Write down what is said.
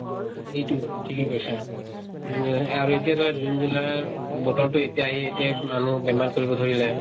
এইটোয়ে, ঠিকে কৈছা। আৰু এতিয়া ধৰা june july, বতৰতো এতিয়া এই এতিয়া মানুহ বেমাৰ কৰিব ধৰিলে।